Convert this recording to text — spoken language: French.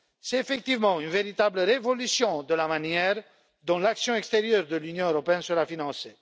C'est, effectivement, une véritable révolution de la manière dont l'action extérieure de l'Union européenne sera financée.